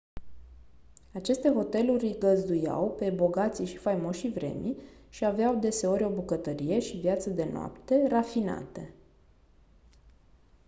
aceste hoteluri îi găzduiau pe bogații și faimoșii vremii și aveau deseori o bucătărie și viață de noapte rafinate